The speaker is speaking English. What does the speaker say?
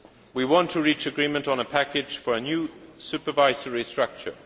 We want to reach agreement on a package for a new supervisory structure.